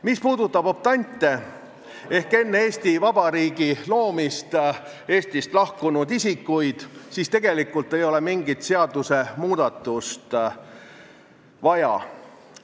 Mis puudutab optante ehk enne Eesti Vabariigi loomist Eestist lahkunud isikuid, siis tegelikult ei ole mingit seadusmuudatust vaja.